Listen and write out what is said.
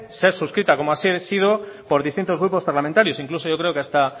ser suscrita como así ha sido por distintos grupos parlamentarios incluso yo creo que hasta